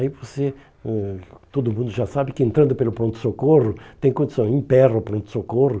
Aí você, eh todo mundo já sabe que entrando pelo pronto-socorro, tem condição, emperra o pronto-socorro,